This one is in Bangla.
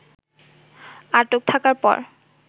আটক থাকার পর